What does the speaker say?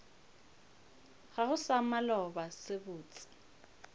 gago sa maloba se botse